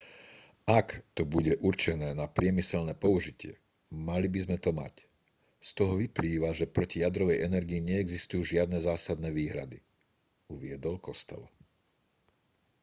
ak to bude určené na priemyselné použitie mali by sme to mať z toho vyplýva že proti jadrovej energii neexistujú žiadne zásadné výhrady uviedol costello